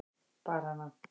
Bar hana